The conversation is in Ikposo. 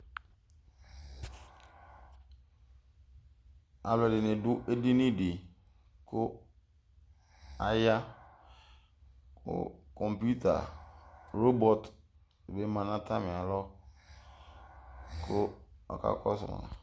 Alʋ edini dʋ edini di kʋ aya kɔmputa robɔt bi ma nʋ atami alɔ kʋ ɔka kɔsʋ